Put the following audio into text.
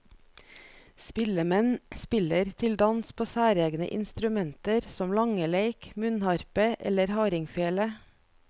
Spillemenn spiller til dans på særegne instrumenter som langeleik, munnharpe eller hardingfele.